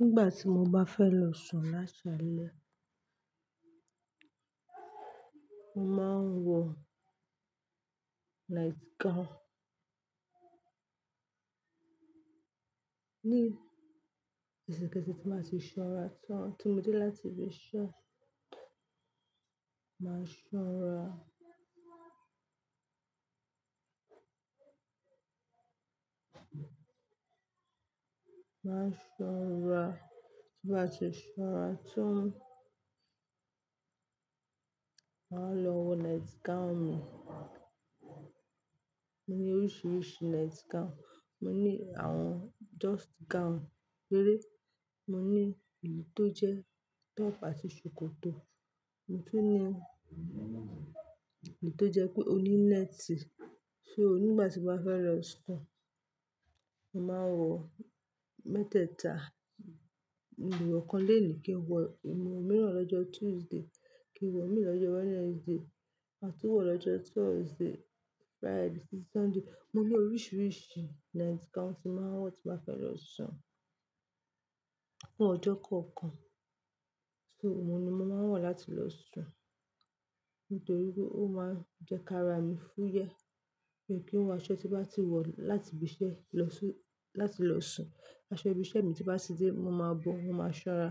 Nígbà tí mo bá fẹ́ lọ sùn lásàálẹ́, mo máa ń wọ night gown. Ní ẹṣẹ̀kẹṣẹ̀ tí mo bá ti ṣanra tán, tí mo dé láti ibi iṣẹ́, máa ṣanra, máa ṣanra. Ti n bá ti ṣanra tán, màá lọ wọ night gown mi. Mo ní oríṣiríṣi night gown. Mo ní àwọn just gown péré, mo ní èyí tó jẹ́ top àti ṣòkòtò, mo tún ní èyí tó jẹ́ pé ó ní nẹ́tì. So nígbà tí mo bá fẹ́ lọ sùn, mo màá n wọ mẹ́tẹ̀ẹ̀ta, mo lè wọ̀ kan lẹ́ẹ̀ní kí n wọ̀ mìíràn lọ́jọ́ Tuesday, kí n wọ̀ mìíràn lọ́jọ́ Wednesday, ma tún wọ̀ lọ́jọ́ Thursday, Friday sí Sunday. Mo ní oríṣiríṣi night gown tí mo máa ń wọ tí mo bá fẹ́ lọ sùn fún ọjọ́ kọ̀ọ̀kan. So òun ni mo màá ń wọ̀ láti lọ sùn nítorí pé ó máa ń jẹ́ kára mi fúyẹ́ miì kí n wọ aṣọ tí mo bá ti wọ̀ láti ibi iṣẹ́ lọ sí-- láti lọ sùn. Aṣọ ibi iṣẹ́ mi tí bá ti dé, mo máa bọ́n, mo máa ṣọ́ra.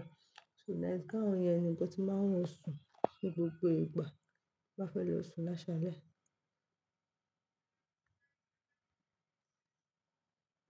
So night gown yẹn nìkan ni nkan tí mo màá ń wọ̀ sùn ní gbogbo ìgbà tí mo bá fẹ́ lọ sùn lásàálẹ́.